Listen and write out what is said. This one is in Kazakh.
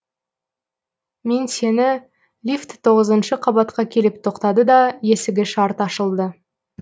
мен сені лифт тоғызыншы қабатқа келіп тоқтады да есігі шарт ашылды